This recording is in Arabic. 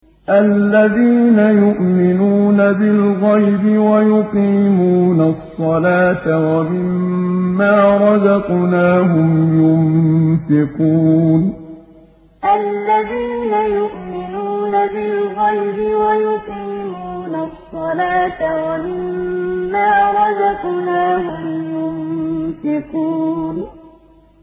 الَّذِينَ يُؤْمِنُونَ بِالْغَيْبِ وَيُقِيمُونَ الصَّلَاةَ وَمِمَّا رَزَقْنَاهُمْ يُنفِقُونَ الَّذِينَ يُؤْمِنُونَ بِالْغَيْبِ وَيُقِيمُونَ الصَّلَاةَ وَمِمَّا رَزَقْنَاهُمْ يُنفِقُونَ